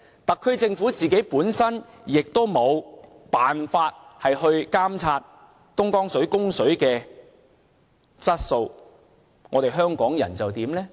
特區政府也無法監察東江水的供水質素，香港人又怎樣呢？